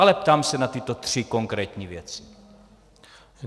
Ale ptám se na tyto tři konkrétní věci.